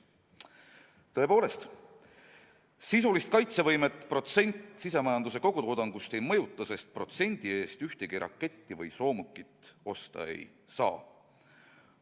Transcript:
Tõepoolest, sisulist kaitsevõimet protsent sisemajanduse kogutoodangust ei mõjuta, sest protsendi eest ühtegi raketti või soomukit osta ei saa.